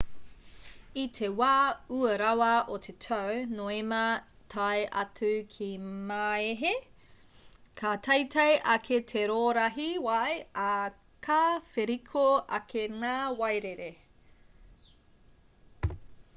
i te wā ua rawa o te tau noema tae atu ki māehe ka teitei ake te rōrahi wai ā ka wheriko ake ngā wairere